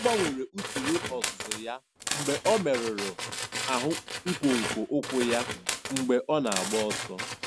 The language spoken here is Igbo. Ọ gbanwere usoro ọzụzụ ya mgbe ọ merụrụ ahụ nkwonkwo ụkwụ ya mgbe ọ na-agba ọsọ.